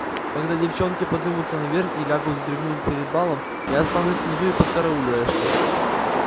когда девчонки подымутся наверх и лягут вздремнуть перед балом я останусь внизу и подкараулю эшли